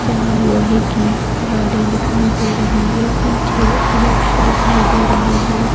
जहाँ लोहे की रॉडे दिखाई दे रहे है पीछे वृक्ष्य दिखाई दे रहे है।